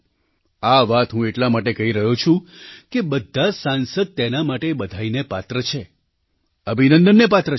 આ વાત હું એટલા માટે કહી રહ્યો છું કે બધાં સાંસદ તેના માટે બધાઈને પાત્ર છે અભિનંદનને પાત્ર છે